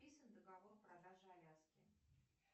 подписан договор продажи аляски